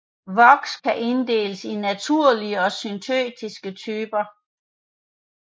Voks kan inddeles i naturlige og syntetiske typer